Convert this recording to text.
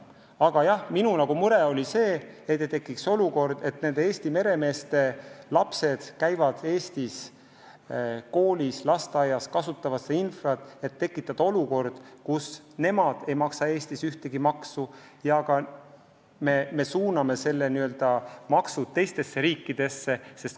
Aga jah, minugi mure on olnud olukord, kus Eesti meremeeste lapsed käivad Eestis koolis ja lasteaias, kasutavad meie infrastruktuuri, aga nende isad ei maksa Eestis ühtegi maksu, sest me suuname need teistesse riikidesse.